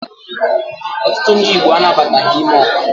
Ọtụtụ ndi Igbo anabataghi ime ọkwa.